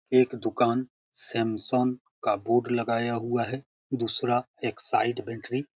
एक दुकान सेमसन का बोर्ड लगा गए हुआ है दूसरा एकसाइड बटेरी --